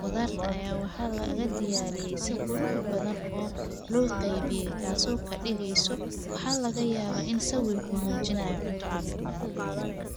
qudarta ayaa waxaa laga diyaariye si qurux badan oo loo qeybiye taaso kadigeso, waxaa laga yaaba in sawirku mujinaayo cunto cafimaad leh.